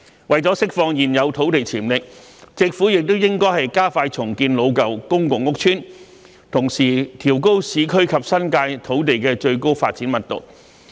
為了釋放現有土地潛力，政府亦應該加快重建老舊公共屋邨，同時調高市區及新界土地的最高發展密度。